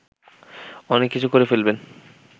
অনেক কিছু করে ফেলবেন